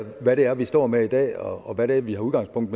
hvad det er vi står med i dag og hvad det er vi tager udgangspunkt